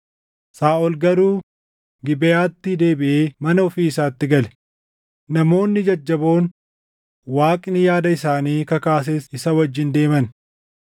Saaʼol garuu Gibeʼaatti deebiʼee mana ofii isaatti gale; namoonni jajjaboon Waaqni yaada isaanii kakaases isa wajjin deeman.